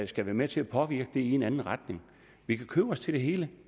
skal være med til at påvirke det i en anden retning vi kan købe os til det hele